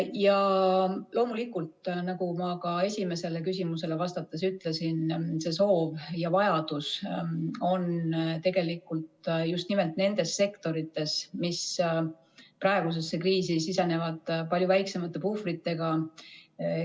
Ja loomulikult, nagu ma ka esimesele küsimusele vastates ütlesin, see soov ja vajadus on just nimelt nendes sektorites, mis praegusesse kriisi sisenesid palju väiksemate puhvritega.